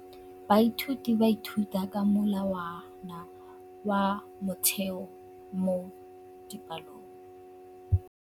Baithuti ba ithuta ka molawana wa motheo mo dipalong.